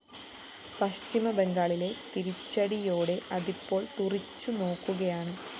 പശ്ചിമബംഗാളിലെ തിരിച്ചടിയോടെ അതിപ്പോള്‍ തുറിച്ചുനോക്കുകയാണ്